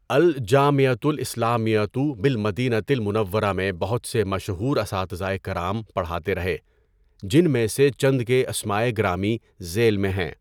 اَلجَامِعۃُ الاِسلامِیَّۃُ بِالمَدِینَۃِ المُنَوَّرَۃِ میں بہت سے مشہور اساتذۂ کرام پڑھاتے رہے جن میں سے چند کے اسمائے گرامی ذیل میں ہیں۔